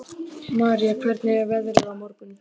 Marý, hvernig er veðrið á morgun?